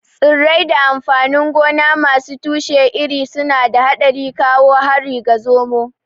Tsirrai da amfanin gona masu tushe iri suna da haɗari kawo harin ga zomo.